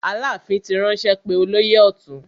Aláàfin ti ránṣẹ́ pé olóyè ọ̀tún.